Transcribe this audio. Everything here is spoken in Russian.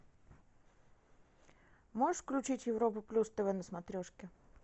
можешь включить европу плюс тв на смотрешке